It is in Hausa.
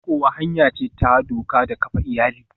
Rikowa hanya ce ta doka ta kafa iyali.